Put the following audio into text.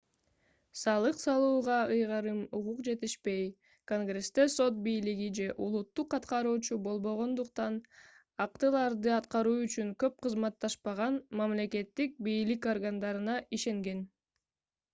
салык салууга ыйгарым укук жетишпей конгрессте сот бийлиги же улуттук аткаруучу болбогондуктан актыларды аткаруу үчүн көп кызматташпаган мамлекеттик бийлик органдарына ишенген